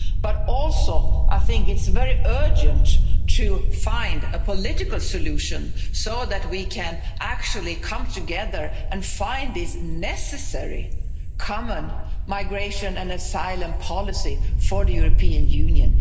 But I also think it's very urgent to find a political solution so that we can actually come together and find this necessary common migration and asylum policy for the European Union.